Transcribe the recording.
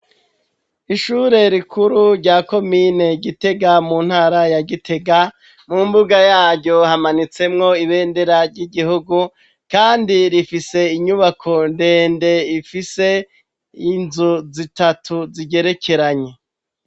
ishure rikuru rya komine gitega mu ntara ya gitega mu mbuga yaryo hamanitsemwo ibendera ry'igihugu kandi rifise inyubako ndende ifise inzu zitatu zigerekeranye